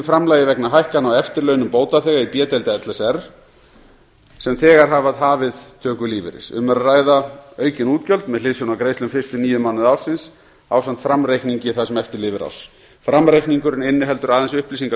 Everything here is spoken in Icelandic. framlagi vegna hækkana á eftirlaunum bótaþega í b deild l s r sem þegar hafa hafið töku lífeyris um er að ræða aukin útgjöld með hliðsjón af greiðslum fyrstu níu mánuði ársins ásamt framreikningi það sem eftir lifir árs framreikningurinn inniheldur aðeins upplýsingar